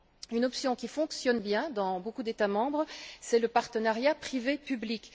Une option qui fonctionne bien dans beaucoup d'États membres, c'est le partenariat privé public.